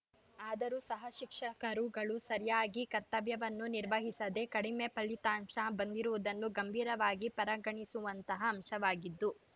ಆದರೂ ಸಹ ಶಿಕ್ಷಕರುಗಳು ಸರಿಯಾಗಿ ಕರ್ತವ್ಯವನ್ನು ನಿರ್ವಹಿಸದೆ ಕಡಿಮೆ ಫಲಿತಾಂಶ ಬಂದಿರುವುದನ್ನು ಗಂಭೀರವಾಗಿ ಪರಗಣಿಸುವಂತಹ ಅಂಶವಾಗಿದ್ದು